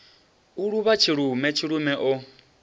u luvha tshilume tshilume o